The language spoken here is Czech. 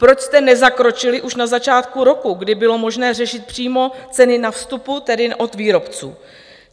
Proč jste nezakročili už na začátku roku, kdy bylo možné řešit přímo ceny na vstupu, tedy od výrobců?